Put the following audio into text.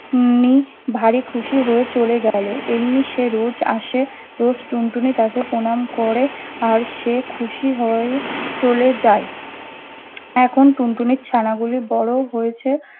নেই ভারি খুশি হয়ে চলে গেল। এমনি সে রোজ আসে, রোজ টুনটুনি তাকে প্রনাম করে আর সে খুশি হয়ে চলে যায়। এখন টুনটুনির ছানাগুলি বড় হয়েছে